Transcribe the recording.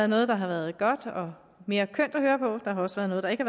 noget der har været godt og mere kønt at høre på der har også være noget der ikke